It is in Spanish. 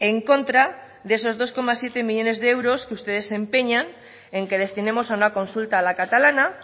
en contra de esos dos coma siete millónes de euros que ustedes se empeñan en que destinemos a una consulta a la catalana